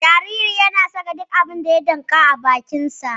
Jaririn yana saka duk abin da ya damƙa a bakinsa